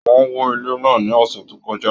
Wọn wò ilé náà ní ọ̀sẹ̀ tó kọjá.